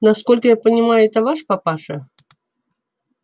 насколько я понимаю это ваш папаша